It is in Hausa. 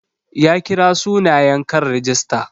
Ya kira sunayen kan rigista.